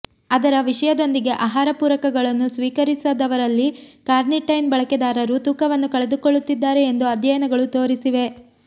ಅದರ ವಿಷಯದೊಂದಿಗೆ ಆಹಾರ ಪೂರಕಗಳನ್ನು ಸ್ವೀಕರಿಸದವರಲ್ಲಿ ಕಾರ್ನಿಟೈನ್ ಬಳಕೆದಾರರು ತೂಕವನ್ನು ಕಳೆದುಕೊಳ್ಳುತ್ತಿದ್ದಾರೆ ಎಂದು ಅಧ್ಯಯನಗಳು ತೋರಿಸಿವೆ